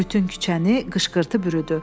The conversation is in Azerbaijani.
Bütün küçəni qışqırtı bürüdü.